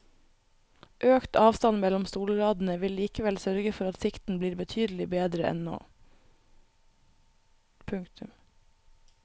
Økt avstand mellom stolradene vil likevel sørge for at sikten blir betydelig bedre enn nå. punktum